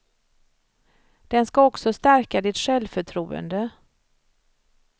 Den ska också stärka ditt självförtroende.